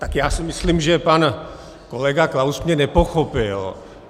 Tak já si myslím, že pan kolega Klaus mě nepochopil.